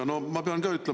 [Härra peaminister!